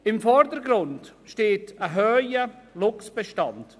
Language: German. Im Vordergrund steht ein hoher Luchsbestand.